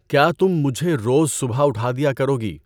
کیا تم مجھے روز صبح اٹھا دیا کروگی؟